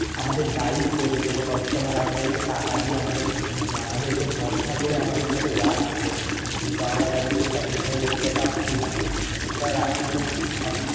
আমাদের দায়িত্ব যে কোন কারর সাথে মানে আমাদেরকে টাকা দিয়ে আমাদের~ মানে আমাদেরকে ভরসা করে আমাদের সাথে যাচ্ছে কিন্তু আমরা তাদেরকে satisfy করতে পারছি না কিন্তু sir আপনি আহ